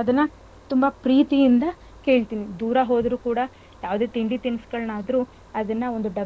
ಅದನ್ನ ತುಂಬ ಪ್ರೀತಿಯಿಂದ ಕೇಳ್ತೀನಿ ದೂರ ಹೋದ್ರು ಕೂಡಾ ಯಾವದೇ ತಿಂಡಿ ತಿನ್ಸ್ಗಳ್ ಆದ್ರೂ ಅದನ್ನ ಒಂದ್,